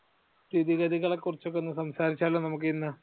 സ്ഥിതിഗതികളെ കുറിച്ച് ഒക്കെ സംസാരിച്ചല്ലോ നമ്മുക്ക് ഇന്ന്?